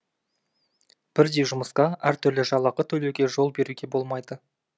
бірдей жұмысқа әртүрлі жалақы төлеуге жол беруге болмайды